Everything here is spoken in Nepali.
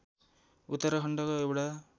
उत्तराखण्डको एउटा